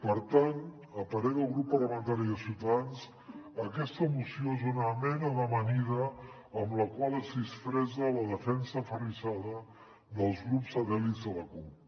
per tant a parer del grup parlamentari de ciutadans aquesta moció és una mena d’amanida amb la qual es disfressa la defensa aferrissada dels grups satèl·lits de la cup